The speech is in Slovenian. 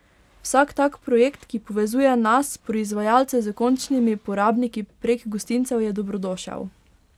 Vsak tak projekt, ki povezuje nas, proizvajalce, s končnimi porabniki prek gostincev, je dobrodošel.